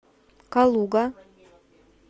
калуга